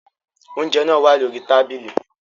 Oúnjẹ náà wá lórí tábìlì